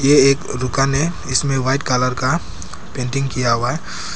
ये एक दुकान है इसमें वाइट कलर का पेंटिंग किया हुआ है।